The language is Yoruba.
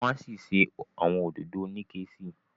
wan sí ṣe awọn òdodo Onike sí.